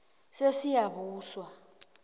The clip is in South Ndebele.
sesiyabuswa